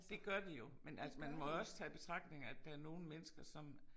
Det gør de jo men altså man må jo også tage i betragtning at der er nogle mennesker som